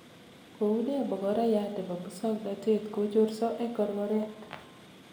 Koune magorayat nebo musoknotet kochorso eng korkoret.